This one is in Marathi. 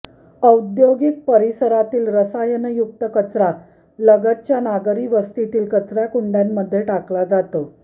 औद्योगिक परिसरातील रसायनयुक्त कचरा लगतच्या नागरीवस्तीतील कचरा कुंड्यांमध्ये टाकला जातो